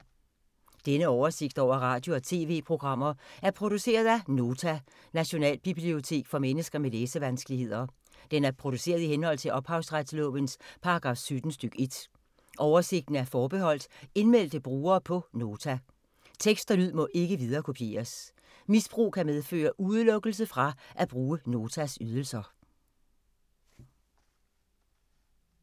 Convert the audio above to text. Denne oversigt over radio og TV-programmer er produceret af Nota, Nationalbibliotek for mennesker med læsevanskeligheder. Den er produceret i henhold til ophavsretslovens paragraf 17 stk. 1. Oversigten er forbeholdt indmeldte brugere på Nota. Tekst og lyd må ikke viderekopieres. Misbrug kan medføre udelukkelse fra at bruge Notas ydelser.